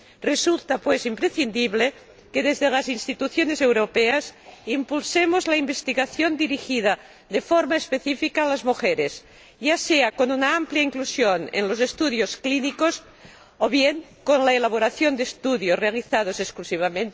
Resulta, pues, imprescindible que, desde las instituciones europeas, impulsemos la investigación dirigida de forma específica a las mujeres, ya sea con una amplia inclusión en los estudios clínicos, o bien con la elaboración de estudios realizados exclusivamente sobre la población femenina.